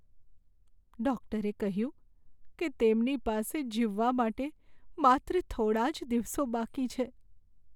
ડૉક્ટરે કહ્યું કે તેમની પાસે જીવવા માટે માત્ર થોડા જ દિવસો બાકી છે.